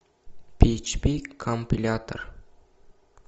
пи эйч пи компилятор